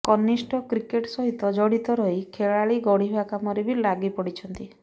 କନିଷ୍ଠ କ୍ରିକେଟ୍ ସହିତ ଜଡ଼ିତ ରହି ଖେଳାଳି ଗଢ଼ିବା କାମରେ ବି ଲାଗି ପଡ଼ିଛନ୍ତି